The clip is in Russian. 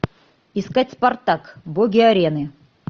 искать спартак боги арены